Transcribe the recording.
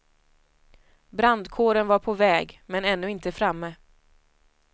Brandkåren var på väg men ännu inte framme.